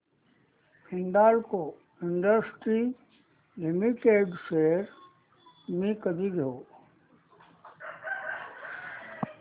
Hindalco industries limited shares मी कधी घेऊ